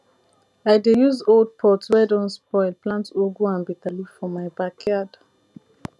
i dey use old pot wey don spoil plant ugu and bitterleaf for my backyard